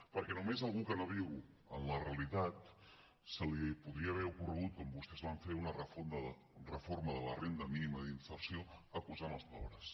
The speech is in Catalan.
perquè només a algú que no viu en la realitat se li podria haver ocorregut com vostès van fer una reforma de la renda mínima d’inserció acusant els pobres